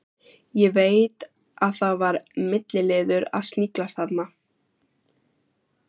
Ég veit að það var milliliður að sniglast þarna.